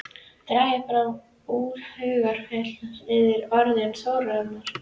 Dragið fram úr hugarfylgsnum yðar orðin Þórunnar.